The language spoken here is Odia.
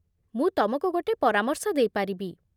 ମୁଁ ତମକୁ ଗୋଟେ ପରାମର୍ଶ ଦେଇପାରିବି